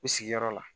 U sigiyɔrɔ la